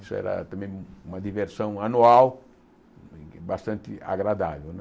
Isso era também uma diversão anual bastante agradável, né?